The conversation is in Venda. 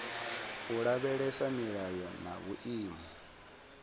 u lavhelesa milayo na vhuimo